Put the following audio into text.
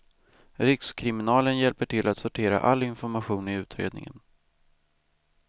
Rikskriminalen hjälper till att sortera all information i utredningen.